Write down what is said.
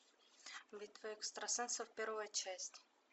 битва экстрасенсов первая часть